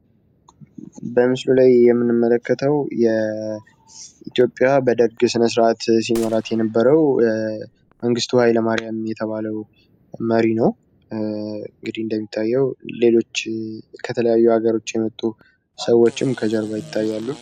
በምስሉ ላይ የምንመለከተው ኢትዮጵያን በደርግ ስነስርዓት ሲመራት የነበረው መንግስቱ ሀይለማርያም መሪ ነው እንግዲህ እንደሚታየው ከሌሎች ለሀገሮች የመጡ ሰዎችም ከጀርባ ይታያሉ።